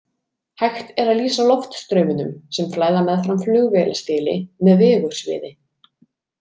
Hægt er að lýsa loftstraumunum sem flæða meðfram flugvélastéli með vigursviði.